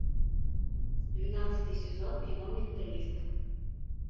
двенадцатый сезон кино менталист